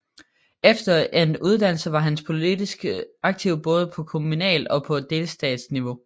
Efter endt uddannelse var han politisk aktiv både på kommunalt og på delstatsniveau